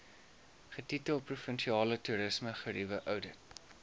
getitel provinsiale toerismegerieweoudit